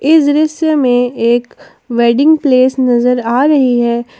इस दृश्य में एक वेडिंग प्लेस नजर आ रही है।